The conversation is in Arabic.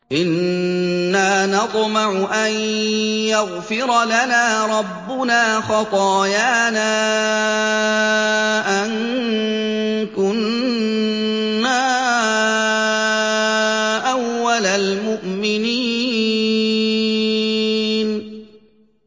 إِنَّا نَطْمَعُ أَن يَغْفِرَ لَنَا رَبُّنَا خَطَايَانَا أَن كُنَّا أَوَّلَ الْمُؤْمِنِينَ